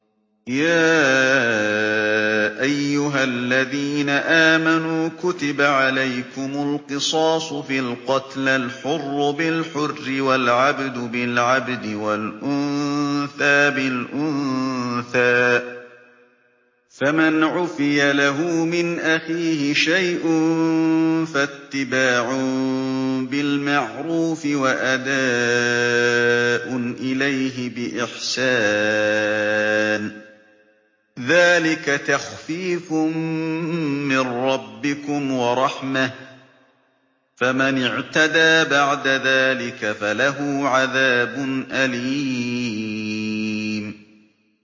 يَا أَيُّهَا الَّذِينَ آمَنُوا كُتِبَ عَلَيْكُمُ الْقِصَاصُ فِي الْقَتْلَى ۖ الْحُرُّ بِالْحُرِّ وَالْعَبْدُ بِالْعَبْدِ وَالْأُنثَىٰ بِالْأُنثَىٰ ۚ فَمَنْ عُفِيَ لَهُ مِنْ أَخِيهِ شَيْءٌ فَاتِّبَاعٌ بِالْمَعْرُوفِ وَأَدَاءٌ إِلَيْهِ بِإِحْسَانٍ ۗ ذَٰلِكَ تَخْفِيفٌ مِّن رَّبِّكُمْ وَرَحْمَةٌ ۗ فَمَنِ اعْتَدَىٰ بَعْدَ ذَٰلِكَ فَلَهُ عَذَابٌ أَلِيمٌ